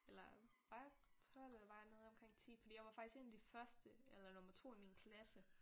Eller var jeg 12 eller var jeg nede omkring 10 fordi jeg var faktisk en af de første eller nummer 2 i min klasse